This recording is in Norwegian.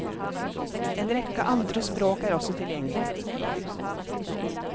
En rekke andre språk er også tilgjengelig.